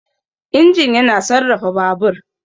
Injin yana sarrafa Babur.